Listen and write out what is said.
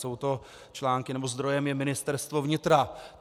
Jsou to články, nebo zdrojem je Ministerstvo vnitra.